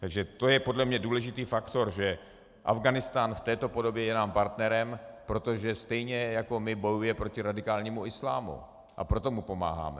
Takže to je podle mne důležitý faktor, že Afghánistán v této podobě je nám partnerem, protože stejně jako my bojuje proti radikálnímu islámu, a proto mu pomáháme.